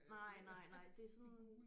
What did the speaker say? Nej nej nej det er sådan